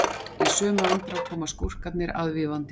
í sömu andrá koma skúrkarnir aðvífandi